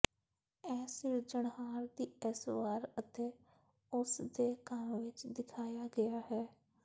ਇਹ ਸਿਰਜਣਹਾਰ ਦੀ ਇਸ ਵਾਰ ਅਤੇ ਉਸ ਦੇ ਕੰਮ ਵਿਚ ਦਿਖਾਇਆ ਗਿਆ ਹੈ